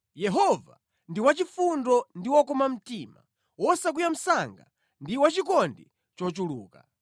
Yehova ndi wachifundo ndi wokoma mtima, wosakwiya msanga ndi wachikondi chochuluka.